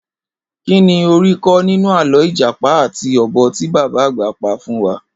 Kíni o rí kó̩ nínú àló̩ ìjàpá àti o̩bò̩ tí bàbá àgbà pa fún wa?